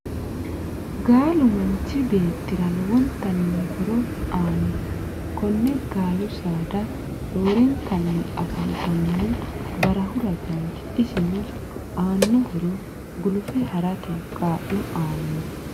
Gaalu manichi beetirra lowonitanni horro aano konne gaalu saada roorenkanni afantanohu barrahu ragati isino aano horro gulufe harrate kaalo aano.